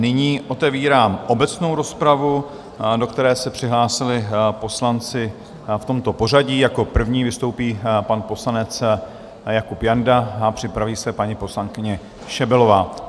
Nyní otevírám obecnou rozpravu, do které se přihlásili poslanci v tomto pořadí: jako první vystoupí pan poslanec Jakub Janda a připraví se paní poslankyně Šebelová.